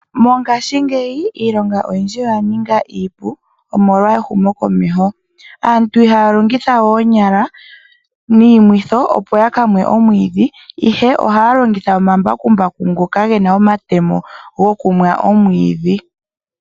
Mongaashingeyi iilonga oya ninga iipu molwa ehumo komeho, aantu iha ya longitha we oonyala niimwitho opo ya kamwe omwiidhi ihe oha ya longitha omambakumbaku ngoka gena omatemo go kumwa omwiidhi.